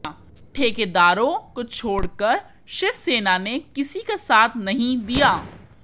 ठेकेदारों को छोड़कर शिवसेना ने किसी का साथ नहीं दिया